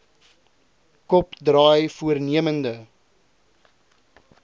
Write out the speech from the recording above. kop draai voornemende